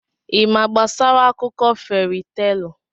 Ị ma gbasara akụkọ feri teelụ?